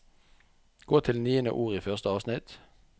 Gå til niende ord i første avsnitt